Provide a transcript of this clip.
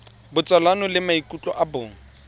botsalano le maikutlo a bong